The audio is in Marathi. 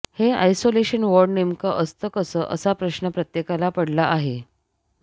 हे आयसोलेशन वॉर्ड नेमकं असतं कसं असा प्रश्न प्रत्येकाला पडला आहे